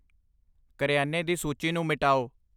ਕਰਿਆਨੇ ਦੀ ਸੂਚੀ ਨੂੰ ਮਿਟਾਓ